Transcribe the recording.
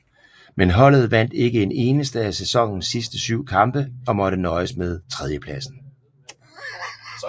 Men holdet vandt ikke en eneste af sæsonens sidste syv kampe og måtte nøjes med tredjepladsen